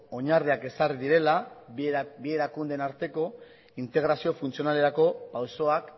oinarriak ezarri direla bi erakundeen arteko integrazio funtzionalerako pausoak